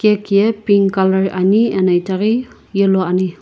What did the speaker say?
cake ye pink color ani ena itaghi yellow color ani.